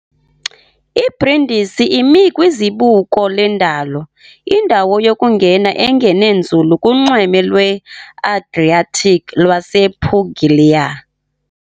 IBrindisi imi kwizibuko lendalo, indawo yokungena engene nzulu kunxweme lweAdriatic lwasePuglia .